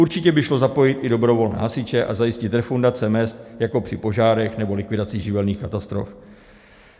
Určitě by šlo zapojit i dobrovolné hasiče a zajistit refundace mezd jako při požárech nebo likvidacích živelních katastrof.